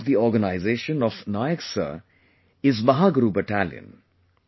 The name of the organization of Nayak Sir is Mahaguru Battalion